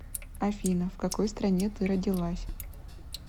афина в какой стране ты родилась